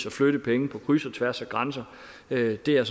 at flytte penge på kryds og tværs af grænser det er